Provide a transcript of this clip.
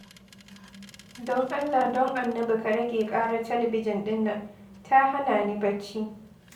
Don Allah, don Annabi ka rage ƙarar talabijin ɗin nan, ta hana ni bacci.